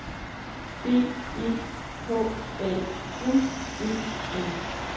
D E K A N E N